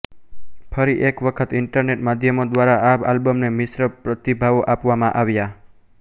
ફરી એક વખત ઇન્ટરનેટ માધ્યમો દ્વારા આ આલ્બમને મિશ્ર પ્રતિભાવો આપવામાં આવ્યા